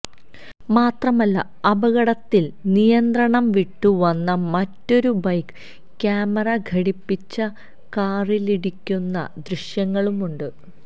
മാത്രമല്ല അപകടത്തിൽ നിയന്ത്രണംവിട്ടു വന്ന മറ്റൊരു ബൈക്ക് ക്യാമറ ഘടിപ്പിച്ച കാറിലിടിക്കുന്ന ദ്യശ്യങ്ങളുമുണ്ട്